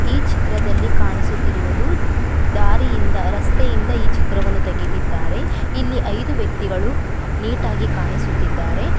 ಈ ಚಿತ್ರದಲ್ಲಿ ಕಾಣಿಸುತ್ತಿರುವುದು ದಾರಿಯಿಂದ ರಸ್ತೆಯಿಂದ ಈ ಚಿತ್ರವನ್ನು ತೆಗದಿದ್ದಾರೆ ಇಲ್ಲಿ ಐದು ವ್ಯಕ್ತಿಗಳು ನೆಯೇಟ್ ಆಗಿ ಕಾಣಿಸುತ್ತಿದ್ದಾರೆ .